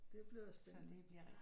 Det bliver spændende